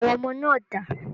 Àwọn ọmọ náà dà?